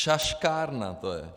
Šaškárna to je.